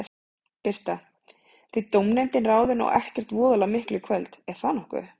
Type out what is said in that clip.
Birta: Þið dómnefndin ráðið nú ekkert voðalega miklu í kvöld, er það nokkuð?